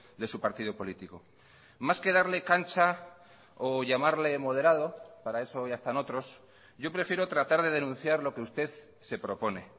de su partido político más que darle cancha o llamarle moderado para eso ya están otros yo prefiero tratar de denunciar lo que usted se propone